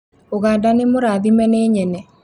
Ũganda nĩ mũrathime nĩ nyene